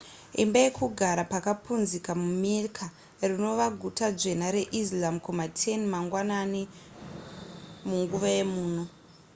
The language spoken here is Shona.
imba yekugara pakapunzika mumecca rinova guta dzvene reislam kuma 10 mangwanani munguva yemuno